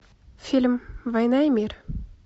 фильм война и мир